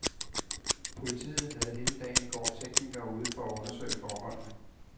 Politiet havde hele dagen i går teknikere ude for at undersøge forholdene.